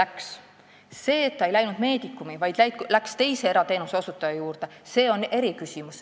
Eriküsimus on see, et see ei läinud Medicumi, vaid läks teise erateenuse osutaja juurde.